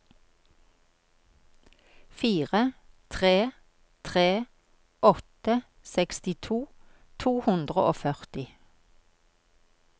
fire tre tre åtte sekstito to hundre og førti